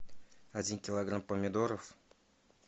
один килограмм помидоров